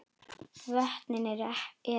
Vötnin eru